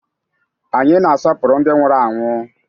Anyị na-asọpụrụ ndị nwụrụ anwụ